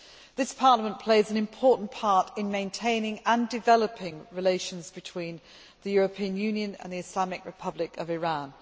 This Parliament plays an important part in maintaining and developing relations between the European Union and the Islamic Republic of Iran.